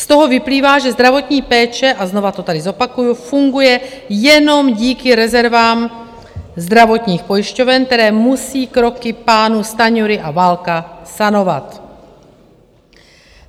Z toho vyplývá, že zdravotní péče - a znova to tady zopakuju - funguje jenom díky rezervám zdravotních pojišťoven, které musí kroky pánů Stanjury a Válka sanovat.